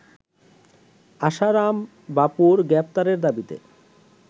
আশারাম বাপুর গ্রেফতারের দাবিতে